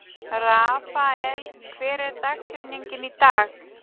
Rafael, hver er dagsetningin í dag?